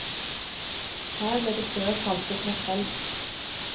Her ble det før saltet makrell.